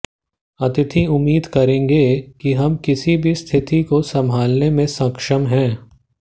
अतिथि उम्मीद करेंगे कि हम किसी भी स्थिति को संभालने में सक्षम होंगे